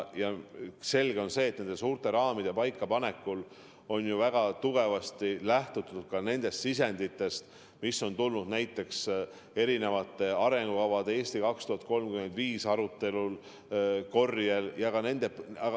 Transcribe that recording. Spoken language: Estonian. On selge, et suurte raamide paikapanekul on väga kindlalt lähtutud nendest sisenditest, mis on tulnud erinevate arengukavade, sh "Eesti 2035" aruteluga seotud korjel.